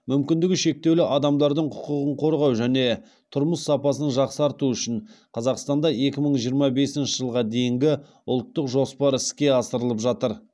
мүмкіндігі шектеулі адамдардың құқығын қорғау және тұрмыс сапасын жақсарту үшін қазақстанда екі мың жиырма бесінші жылға дейінгі ұлттық жоспар іске асырылып жатыр